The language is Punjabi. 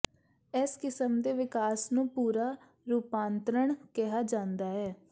ਇਸ ਕਿਸਮ ਦੇ ਵਿਕਾਸ ਨੂੰ ਪੂਰਾ ਰੂਪਾਂਤਰਣ ਕਿਹਾ ਜਾਂਦਾ ਹੈ